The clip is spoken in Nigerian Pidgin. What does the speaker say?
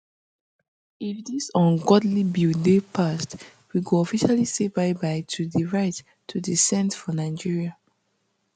if dis ungodly bill dey passed we go officially say byebye to di right to dissent for nigeria